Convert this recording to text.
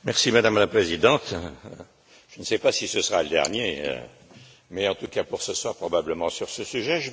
Madame la Présidente, je ne sais pas si ce sera le dernier mot, mais en tout cas pour ce soir, probablement, sur ce sujet.